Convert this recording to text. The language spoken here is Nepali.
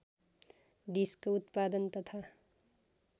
डिस्क उत्पादन तथा